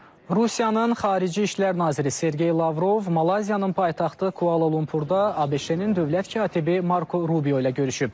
Rusiyanın xarici İşlər naziri Sergey Lavrov Malayziyanın paytaxtı Kuala Lumpurda ABŞ-ın dövlət katibi Marko Rubio ilə görüşüb.